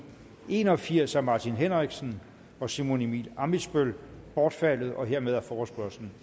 en og firs af martin henriksen og simon emil ammitzbøll bortfaldet hermed er forespørgslen